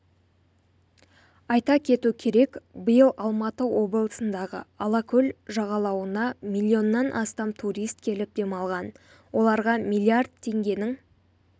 айта кету керек биыл алматы облысындағы алакөл жағалауына миллионнан астам турист келіп демалған оларға миллиард теңгенің